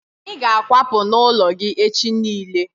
Anyị ga akwapu n'ụlọ gị echi niile